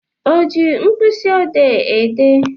O ji mkpịsị ọdee ede ihe?